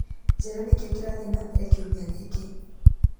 njĩra nĩ kĩĩ kĩrathiĩ na mbere kiumia gĩkĩ